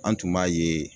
An tun b'a ye